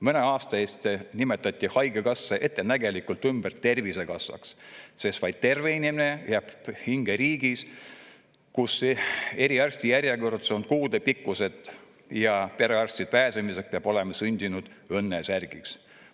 Mõne aasta eest nimetati haigekassa ettenägelikult ümber Tervisekassaks, sest vaid terve inimene jääb hinge riigis, kus eriarstijärjekorrad on kuudepikkused ja perearsti juurde pääsemiseks peab olema sündinud õnnesärgis.